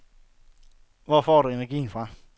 Hvor får du energien fra?